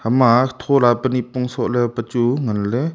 ema thow la pe nipong sok le pe chu ngan le.